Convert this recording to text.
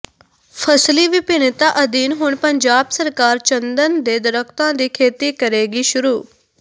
ਫ਼ਸਲੀ ਵਿਭਿੰਨਤਾ ਅਧੀਨ ਹੁਣ ਪੰਜਾਬ ਸਰਕਾਰ ਚੰਦਨ ਦੇ ਦਰੱਖਤਾਂ ਦੀ ਖੇਤੀ ਕਰੇਗੀ ਸ਼ੁਰੂ